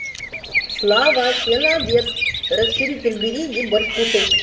слава все на обед расширитель бери и иди борщ кушай